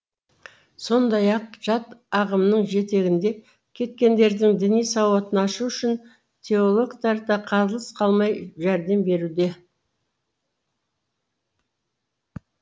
сондай ақ жат ағымның жетегінде кеткендердің діни сауатын ашу үшін теологтар да қалыс қалмай жәрдем беруде